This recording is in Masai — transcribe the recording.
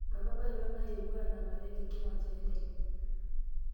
mama apailong' nayewuo anang'are te nkiwanja enteke